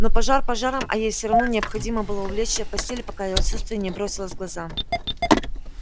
но пожар пожаром а ей всё равно необходимо было улечься в постель пока её отсутствие не бросилось в глаза